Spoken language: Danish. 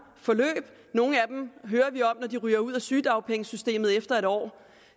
forløb nogle af dem hører vi om når de ryger ud af sygedagpengesystemet efter en år